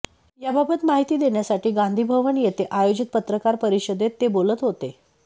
याबाबत माहिती देण्यासाठी गांधी भवन येथे आयोजित पत्रकार परिषदेत ते बोलत होते